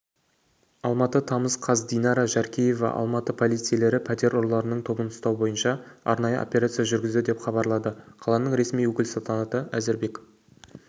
алматы тамыз қаз динара жаркеева алматы полицейлері пәтер ұрыларының тобын ұстау бойынша арнайы операция жүргізді деп хабарлады қаланың ресми өкілісалтанат әзірбек